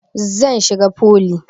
Zan shiga foli